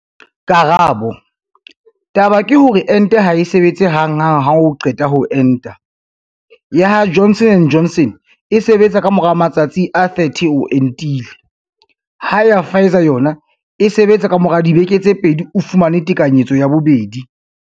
Karabo- Taba ke hore ente ha e sebetse hang hang ha o qeta ho enta, ya ha Johnson and Johnson e sebetsa ka mora matsatsi a 30 o entile, ha ya ha Pfizer yona e sebetsa ka mora dibeke tse pedi o fumane tekanyetso ya bobedi.